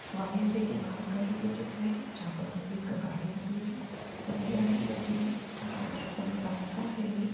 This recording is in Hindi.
हवाई अड्डे की बाहर का ही यह चित्र है जहाॅं पर एक गाड़ी खड़ी है सफेद रंग की गाड़ी है। गाड़ सब रास्ता है ये --